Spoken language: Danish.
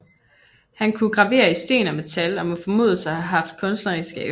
Han kunne gravere i sten og metal og må formodes at have haft kunstneriske evner